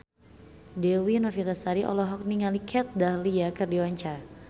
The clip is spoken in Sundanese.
Dewi Novitasari olohok ningali Kat Dahlia keur diwawancara